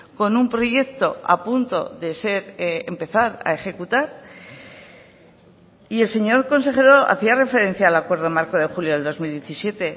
con un proyecto a punto de ser empezar a ejecutar y el señor consejero hacía referencia al acuerdo marco de julio del dos mil diecisiete